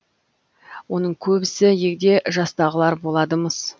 оның көбісі егде жастағылар болады мыс